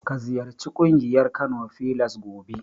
Ka ziyarci ƙungiyar Kano filas gobe.